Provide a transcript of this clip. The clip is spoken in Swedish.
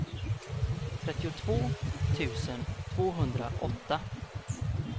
trettiotvå tusen tvåhundraåtta